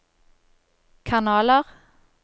kanaler